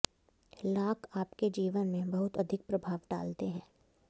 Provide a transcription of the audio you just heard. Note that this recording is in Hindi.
लांक आपके जीवन में बहुत अधिक प्रभाव डालते है